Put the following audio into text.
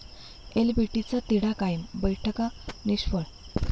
एलबीटीचा तिढा कायम, बैठका निष्फळ!